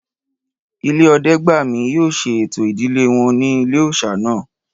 Ìdílé Ọdẹ́gbàmí yóò ṣe ẹ̀tọ́ ìdílé wọn ní ilé-òòsà náà